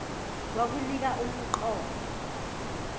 kwakunika um qondo